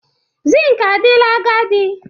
Zinc adịla agadi.